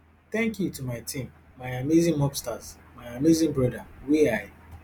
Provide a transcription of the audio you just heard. thank you to my team my amazing mobstars my amazing brother wey i